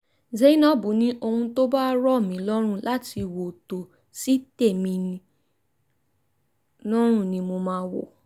zainab ní ohun tó bá rọ̀ mí lọ́rùn láti wò tó sì tẹ́ mi lọ́rùn ni mo máa ń wò